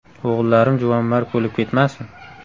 O‘g‘illarim juvonmarg bo‘lib ketmasin.